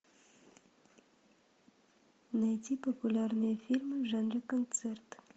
найди популярные фильмы в жанре концерт